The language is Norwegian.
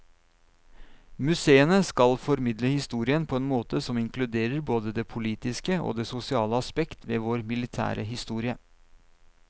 Museene skal formidle historien på en måte som inkluderer både det politiske og det sosiale aspekt ved vår militære historie.